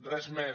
res més